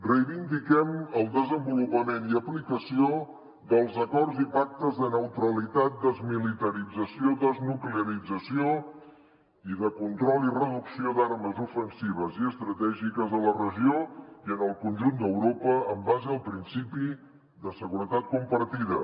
reivindiquem el desenvolupament i aplicació dels acords i pactes de neutralitat desmilitarització desnuclearització i de control i reducció d’armes ofensives i estratègiques a la regió i en el conjunt d’europa en base al principi de seguretat compartida